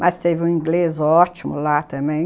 Mas teve um inglês ótimo lá também.